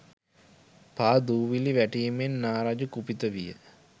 පා දූවිලි වැටීමෙන් නා රජු කුපිත විය.